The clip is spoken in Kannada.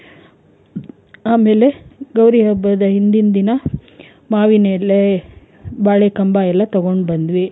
ಆಮೇಲೆ ಗೌರಿ ಹಬ್ಬದ ಹಿಂದಿನ್ ದಿನ ಮಾವಿನೆಲೆ ಬಾಳೆ ಕಂಬ ಎಲ್ಲ ತಗೊಂಡ್ ಬಂದ್ವಿ.